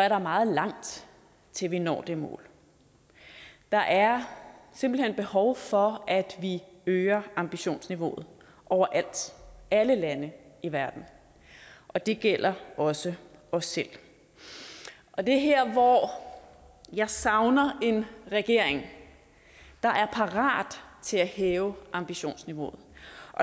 er der meget langt til vi når det mål der er simpelt hen behov for at vi øger ambitionsniveauet overalt alle lande i verden og det gælder også os selv og det er her hvor jeg savner en regering der er parat til at hæve ambitionsniveauet